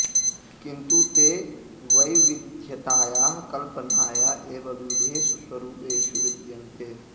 किन्तु ते वैविध्यतायाः कल्पनाय एव विविधेषु स्वरूपेषु विद्यन्ते